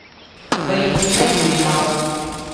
валентина юринова